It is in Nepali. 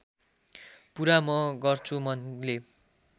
पुरा म गर्छु मनले